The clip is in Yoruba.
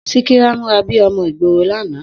Síkírá múra bíí ọmọ ìgboro l'ana